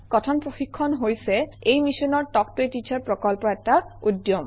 কথন প্ৰশিক্ষণ হৈছে এই মিছনৰ তাল্ক ত a টিচাৰ প্ৰকল্পৰ এটা উদ্যম